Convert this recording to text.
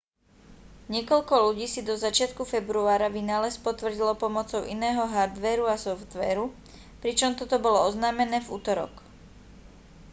niekoľko ľudí si do začiatku februára vynález potvrdilo pomocou iného hardvéru a softvéru pričom toto bolo oznámené v utorok